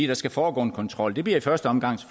der skal foregå en kontrol det bliver i første omgang